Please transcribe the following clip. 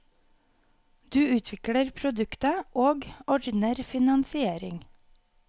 Du utvikler produktet, og ordner finansiering.